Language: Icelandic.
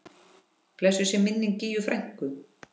Blessuð sé minning Gígju frænku.